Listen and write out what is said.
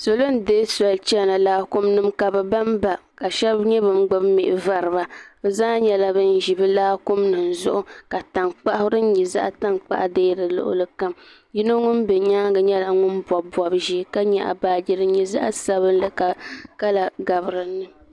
Salo n deei soli chana Laakumi nim ka bi banba ka shab nyɛ bin gbubi mihi voriba bi zaa nyɛla bin ʒi bi Laakumi nim zuɣu ka tankpaɣu din nyɛ zaɣ tankpaɣu dee di luɣuli kam yino ŋun bɛ nyaanga nyɛla ŋun bobi bobi ʒiɛ ka nyaɣa baajo ka di nyɛ zaɣ sabinli ka kala gabi dinni